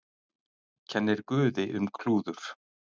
Kennir guði um klúður